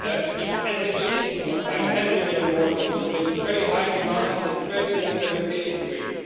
more the SME instrument by EUR 10 million more because there is a very high demand, it has a very good implementation